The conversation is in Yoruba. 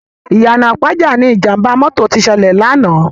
Iyana Ipaja ni Ijàmbá mòtó ti sèlè làná